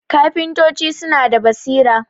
kafintoci suna da basira